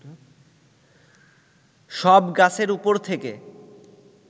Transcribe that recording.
সব গাছের উপর থেকে